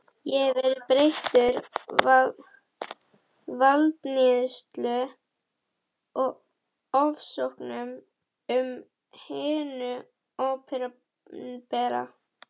Ég hef verið beittur valdníðslu og ofsóknum af hinu opinbera.